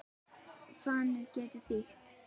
Fanir getur þýtt